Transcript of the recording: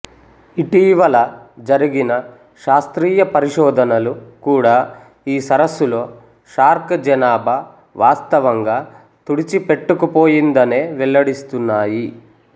ఇటీవల జరిగిన శాస్త్రీయ పరిశోధనలు కూడా ఈ సరస్సులో షార్క్ జనాభా వాస్తవంగా తుడిచిపెట్టుకుపోయిందనే వెల్లడిస్తున్నాయి